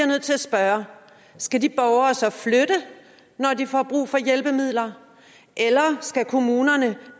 nødt til at spørge skal de borgere så flytte når de får brug for hjælpemidler eller skal kommunerne